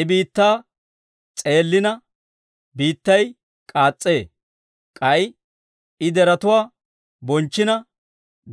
I biittaa s'eellina, biittay k'aas's'ee; k'ay I deretuwaa bochchina,